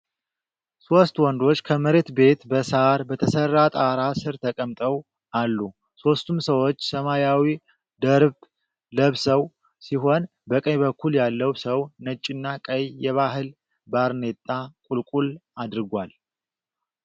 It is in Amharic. ሦስት ወንዶች ከመሬት ቤት በሳር በተሠራ ጣራ ስር ተቀምጠው አሉ። ሦስቱም ሰዎች ሰማያዊ ደርብ ለብሰው ሲሆን፣ በቀኝ በኩል ያለው ሰው ነጭና ቀይ የባህል ባርኔጣ (ቁልል) አድርጓል።